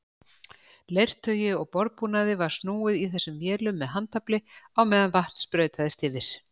Leirtaui og borðbúnaði var snúið í þessum vélum með handafli á meðan vatn sprautaðist yfir.